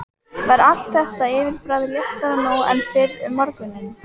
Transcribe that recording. Var allt þeirra yfirbragð léttara nú en fyrr um morguninn.